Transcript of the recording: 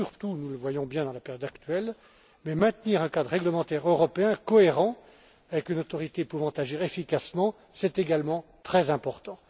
Nous le voyons bien dans la période actuelle, mais maintenir un cadre réglementaire européen cohérent avec une autorité pouvant agir efficacement, est également très important.